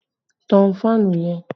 Tán fáànù yẹn!